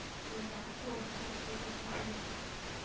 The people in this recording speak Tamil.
so bank ல work பண்ணா கேட்கத்தானே செய்வாங்க